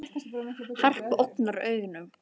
Harpa ógnar engum